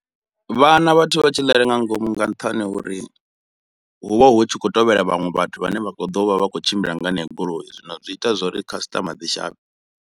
Vha hana vhathu vha tshi ḽela nga ngomu nga nṱhani ho uri hu vha hu tshi khou tevhela vhaṅwe vhathu vhane vha kho ḓovha vha kho tshimbila nga heneyo goloi, zwino zwi ita zwori customer dzi shavhe.